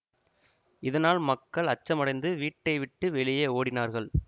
இதனால் மக்கள் அச்சமடைந்து வீட்டை விட்டு வெளியே ஓடினார்கள்